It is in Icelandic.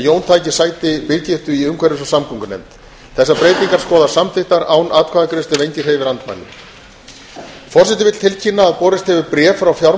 jón taki sæti birgittu í umhverfis og samgöngunefnd þessar breytingar skoðast samþykktar án atkvæðagreiðslu ef enginn hreyfir andmælum